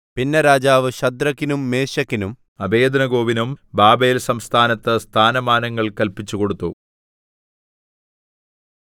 പിന്നെ രാജാവ് ശദ്രക്കിനും മേശക്കിനും അബേദ്നെഗോവിനും ബാബേൽസംസ്ഥാനത്ത് സ്ഥാനമാനങ്ങൾ കല്പിച്ചുകൊടുത്തു